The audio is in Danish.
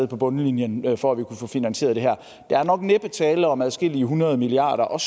på bundlinjen et for at vi kunne få finansieret det her der er nok næppe tale om adskillige hundrede milliarder og